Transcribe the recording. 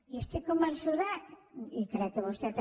i estic convençuda i crec que vostè també